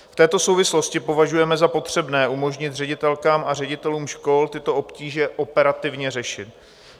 V této souvislosti považujeme za potřebné umožnit ředitelkám a ředitelům škol tyto obtíže operativně řešit.